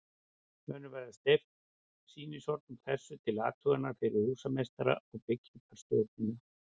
Munu verða steypt sýnishorn úr þessu til athugunar fyrir húsameistara og byggingarstjórnina.